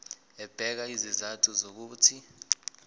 ebeka izizathu zokuthi